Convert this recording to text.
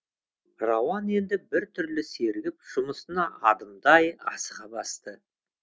рауан енді бір түрлі сергіп жұмысына адымдай асыға басты